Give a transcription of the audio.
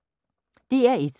DR1